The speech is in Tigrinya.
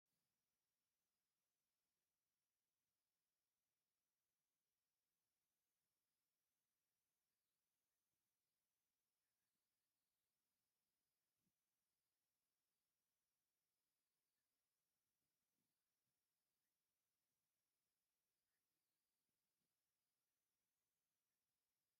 ኣብ ዳሞሆይ (ቀደም ብቤኒን ዝፍለጥ ዝነበረ) ሰባት ካብ ዓቢ ናይ ሓባር ሳእኒ "ፓታሳ" ዝበሃል ባህላዊ መግቢ እናበልዑ። "ፓታሳ" እንታይ እዩ ወይስ ሕጂ ኣብ ቤኒን ብሰፊሑ ዝዳሎ ባህላዊ ምግብታት እንታይ እዩ?